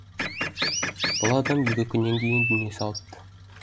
бұл адам екі күннен кейін дүние салыпты